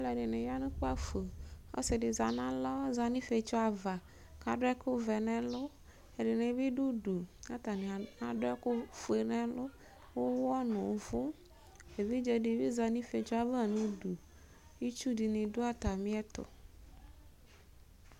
Alʋɛdɩnɩ za nʋ ukpǝfo Ɔsɩ dɩ za nʋ alɔ, ɔza nʋ ifietso ava kʋ adʋ ɛkʋvɛ nʋ ɛlʋ Ɛdɩnɩ bɩ dʋ udu kʋ atanɩ adʋ ɛkʋfue nʋ ɛlʋ, ʋɣɔ nʋ ʋvʋ Evidze dɩ bɩ za nʋ ifietso ava nʋ udu Itsu dɩnɩ dʋ atamɩɛtʋ